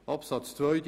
In Absatz 2 steht: